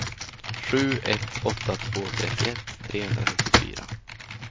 sju ett åtta två trettioett trehundranittiofyra